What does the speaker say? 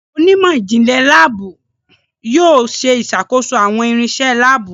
Onímò jinle laabu yóò ṣe ìṣàkóso àwọn irinṣẹ́ laabu.